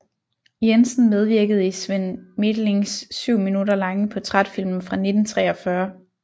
Jensen medvirkede i Svend Methlings 7 minutter lange portrætfilm fra 1943